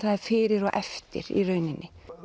fyrir og eftir í rauninni